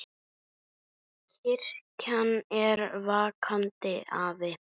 Kirkjan er vakandi afl.